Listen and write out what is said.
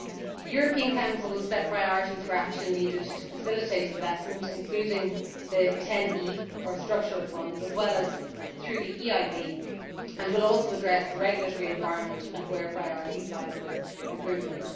The European Council will set priorities for action needed to facilitate investment including the TEN E or structural funds as well as through the EIB, and it will also address the regulatory environment and highlight priorities for improvement.